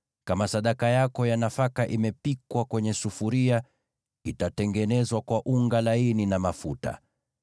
Kama sadaka yako ya nafaka imepikwa kwenye sufuria, itatengenezwa kwa unga laini na mafuta.